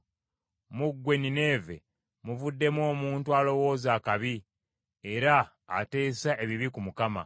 Mu ggwe Nineeve muvuddemu omuntu alowooza akabi era ateesa ebibi ku Mukama .